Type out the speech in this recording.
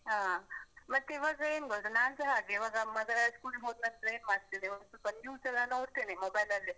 ಹಾ, ಮತ್ತೆ ಇವಾಗ ಏನ್ ಗೊತ್ತಾ, ನಾನ್ಸಾ ಹಾಗೇ ಇವಾಗ ಮಗ school ಗ್ ಹೋದ್ನಂತ್ರ ಏನ್ ಮಾಡ್ತಿನಿ ಅಂದ್ರೆ ಸ್ವಲ್ಪ news ಎಲ್ಲಾ ನೋಡ್ತೆನೆ mobile ಅಲ್ಲೇ.